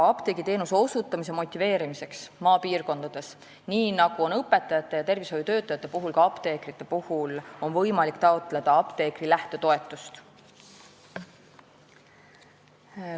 Apteegiteenuse osutamise motiveerimiseks maapiirkondades on võimalik – nii nagu õpetajate ja tervishoiutöötajate puhul – taotleda apteekri lähtetoetust.